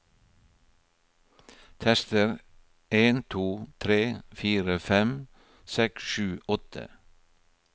Tester en to tre fire fem seks sju åtte